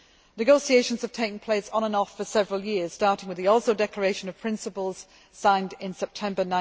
Negotiations have taken place on and off for several years starting with the Oslo Declaration of Principles signed in September